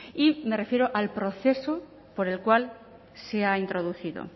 y me refiero al proceso por el cual se ha introducido